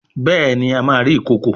Béèni a má rí ikọkọ.